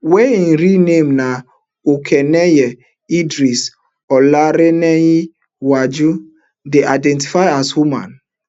wey im real name na okuneye idris olarenewaju dey identify as woman